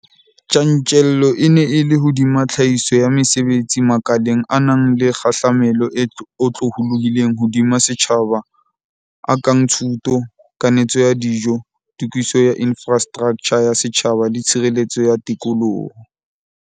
Tjantjello e ne e le hodima tlhahiso ya mesebetsi makaleng a nang le kgahlamelo e otlolohileng hodima setjhaba a kang thuto, kanetso ya dijo, tokiso ya infrastraktjha ya setjhaba le tshireletso ya tikoloho.